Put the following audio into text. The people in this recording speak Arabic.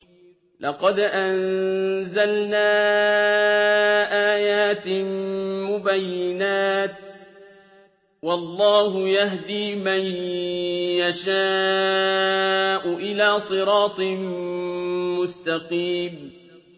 لَّقَدْ أَنزَلْنَا آيَاتٍ مُّبَيِّنَاتٍ ۚ وَاللَّهُ يَهْدِي مَن يَشَاءُ إِلَىٰ صِرَاطٍ مُّسْتَقِيمٍ